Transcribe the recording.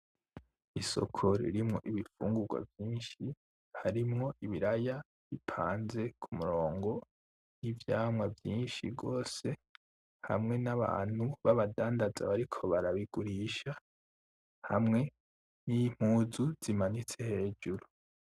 Isoko ririmwo ibifungugwa vyinshi, harimwo ibiraya bipanze ku murongo, n'ivyamwa vyinshi gose, hamwe n'abantu babadandaza bariko barabigurisha, hamwe n'impuzu zimanitse hejuru.